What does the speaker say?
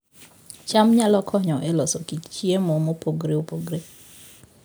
cham nyalo konyo e loso kit chiemo mopogore opogore